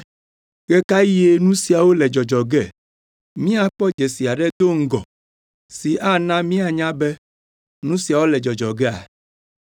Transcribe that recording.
“Ɣe ka ɣie nu siawo le dzɔdzɔ ge? Míakpɔ dzesi aɖe do ŋgɔ si ana míanya be nu siawo le dzɔdzɔ gea?”